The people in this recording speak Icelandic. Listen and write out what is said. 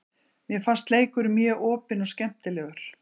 Mér fannst leikurinn mjög opinn og skemmtilegur.